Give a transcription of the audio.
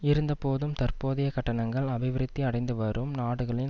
இருந்த போதும் தற்போதைய கட்டணங்கள் அபிவிருத்தி அடைந்து வரும் நாடுகளின்